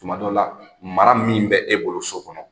Tumadɔ la, mara min bɛ e bolo so kɔnɔ,